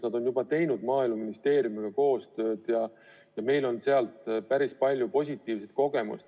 Nad on juba teinud Maaeluministeeriumiga koostööd ja meil on päris palju positiivset kogemust.